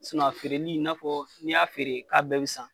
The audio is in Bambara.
a feereli i n'a fɔ n'i y'a feere k'a bɛɛ be san